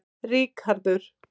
Ríkharður